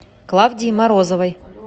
клавдии морозовой